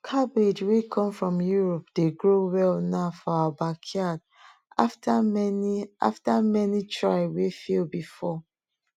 cabbage wey come from europe dey grow well now for our backyard after many after many try wey fail before